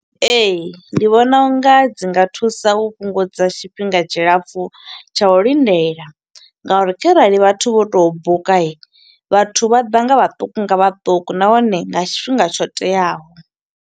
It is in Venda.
Ee, ndi vhona unga dzi nga thusa u fhungudza tshifhinga tshilapfu tsha u lindela, nga uri kharali vhathu vho to buka, vhathu vha ḓa nga vhaṱuku nga vhaṱuku nahone, nga tshifhinga tsho teaho.